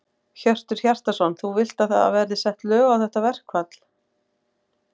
Hjörtur Hjartarson: Þú vilt að það verði sett lög á þetta verkfall?